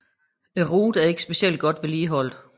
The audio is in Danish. Ruten er ikke specielt godt vedligeholdt